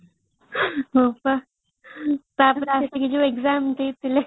missing text